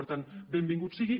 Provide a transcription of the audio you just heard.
per tant benvingut sigui